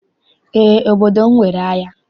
Eé, obodo m nwere ahịa.